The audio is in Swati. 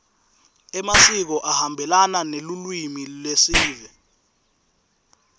emasiko ahambelana nelulwimi lesive